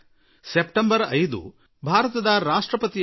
September 5 ಭಾರತದ ಮಾಜಿ ರಾಷ್ಟ್ರಪತಿ ದಿವಂಗತ ಡಾ